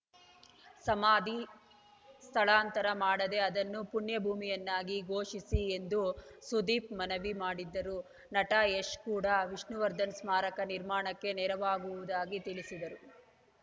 ಸಮಾಧಿ ಸ್ಥಳಾಂತರ ಮಾಡದೇ ಅದನ್ನು ಪುಣ್ಯಭೂಮಿಯನ್ನಾಗಿ ಘೋಷಿಸಿ ಎಂದು ಸುದೀಪ್‌ ಮನವಿ ಮಾಡಿದ್ದರು ನಟ ಯಶ್‌ ಕೂಡ ವಿಷ್ಣುವರ್ಧನ್‌ ಸ್ಮಾರಕ ನಿರ್ಮಾಣಕ್ಕೆ ನೆರವಾಗುವುದಾಗಿ ತಿಳಿಸಿದ್ದರು